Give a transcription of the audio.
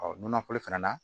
nɔnɔ kolo fana na